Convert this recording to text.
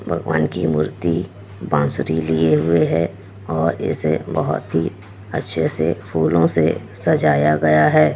भगवान की मूर्ति बांसुरी लिए हुए है और इसे बहुत ही अच्छे से फूलो से सजाया गया है।